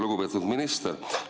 Lugupeetud minister!